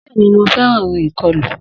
Bẹ́ẹ̀ni, mo fẹ́ràn orin ìkọlù.